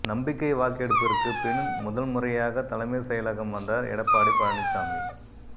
நம்பிக்கை வாக்கெடுப்பிற்கு பின் முதல்முறையாக தலைமைச் செயலகம் வந்தார் எடப்பாடி பழனிச்சாமி